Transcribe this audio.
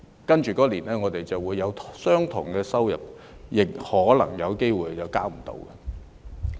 但是，我們來年未必會有相同的收入，亦可能有機會無法負擔稅款。